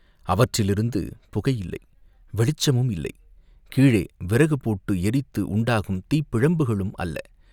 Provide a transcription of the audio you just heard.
அவற்றிலிருந்து புகை இல்லை, வெளிச்சமும் இல்லை, கீழே விறகு போட்டு எரித்து உண்டாகும் தீப்பிழம்புகளும் அல்ல.